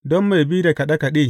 Don mai bi da kaɗe kaɗe.